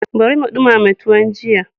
Bari mu ɗimama tuwon jiya.